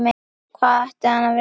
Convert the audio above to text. Hvað ætti hann að vilja?